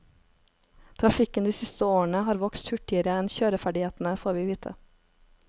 Trafikken de siste årene har vokst hurtigere enn kjøreferdighetene, får vi vite.